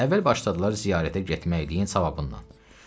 Əvvəl başladılar ziyarətə getməliyin savabından.